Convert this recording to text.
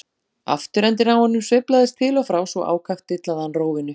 Afturendinn á honum sveiflaðist til og frá svo ákaft dillaði hann rófunni.